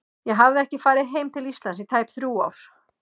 Ég hafði ekki farið heim til Íslands í tæp þrjú ár.